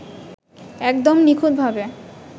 একদম নিখুঁতভাবে